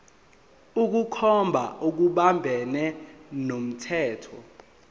ukukhomba okuphambene nomthetho